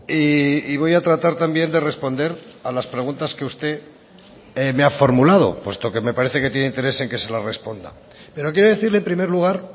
y voy a tratar también de responder a las preguntas que usted me ha formulado puesto que me parece que tiene interés en que se la responda pero quiero decirle en primer lugar